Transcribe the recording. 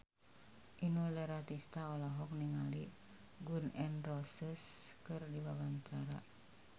Inul Daratista olohok ningali Gun N Roses keur diwawancara